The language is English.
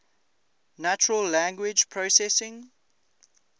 natural language processing